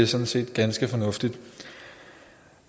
sådan set ganske fornuftige